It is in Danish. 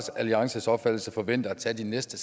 alliances opfattelse forventer at tage de næste